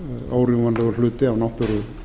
órjúfanlegur hluti af náttúru